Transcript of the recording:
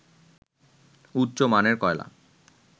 উচ্চ মানের কয়লা